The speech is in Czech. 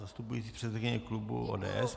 Zastupující předsedkyně klubu ODS.